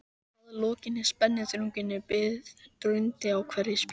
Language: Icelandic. Að lokinni spennuþrunginni bið drundi í hverri spýtu.